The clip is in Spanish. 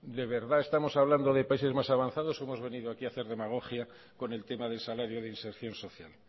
de verdad estamos hablando de países más avanzados o hemos venido aquí a hacer demagogia con el tema del salario de inserción social